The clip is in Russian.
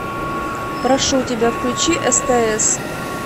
прошу тебя включи стс